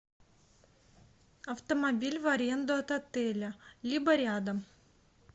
автомобиль в аренду от отеля либо рядом